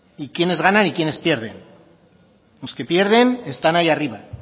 y quienes ganan y quienes pierden los que pierden están ahí arriba